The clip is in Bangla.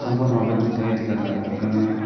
বুনোভাবে দুটাই দেখা যাক এখানে।